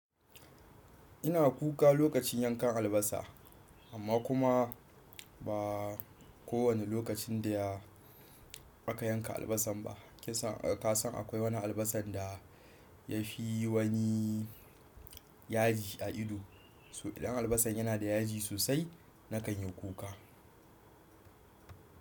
Ina kuka lokacin yankan albasa amma kuma ba kowane lokacin da aka yanka albasan ba. Kasan akwai wani albasan da ya fi wani yaji a ido. So idan albasan yana da yaji sosai nakan yi kuka.